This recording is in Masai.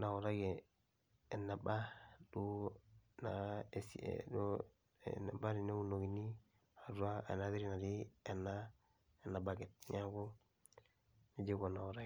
nautaki eneba teneunokini eneba tiatua enabaket neaku nejia iko tanaitaki.